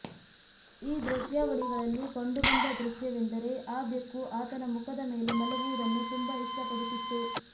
ಈ ದೃಶ್ಯಾವಳಿಗಳಲ್ಲಿ ಕಂಡುಬಂದ ದೃಶ್ಯವೆಂದರೆ ಆ ಬೆಕ್ಕು ಆತನ ಮುಖದ ಮೇಲೆ ಮಲಗುವುದನ್ನು ತುಂಬಾ ಇಷ್ಟಪಡುತ್ತಿತ್ತು